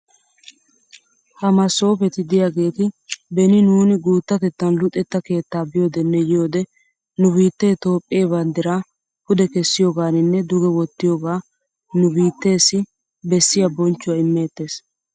Ha masoopeti diyaageeti beni nuuni guuttatettan luxetta keettaa biyoodenne yiyoode nu biittee Toophphee banddiraa pude kessiyoogaaninne duge wottiyooga nu biiteesi bessiya bonchchuwaa imeettees.